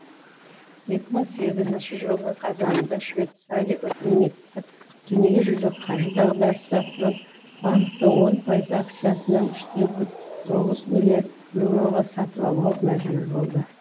екі мың сегізінші жылдың қазанында швейцария үкіметі дүниежүзілік қаржы дағдарысы атынан банктың он пайыз акциясын үште тоғыз миллиард еуроға сатып алуға мәжбүр болды